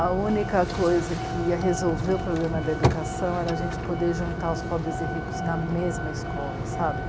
A única coisa que ia resolver o problema da educação era a gente poder juntar os pobres e ricos na mesma escola, sabe?